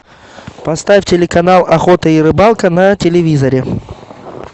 поставь телеканал охота и рыбалка на телевизоре